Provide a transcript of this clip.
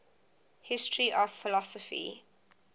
history of philosophy